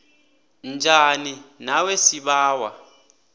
njani nawe sibawa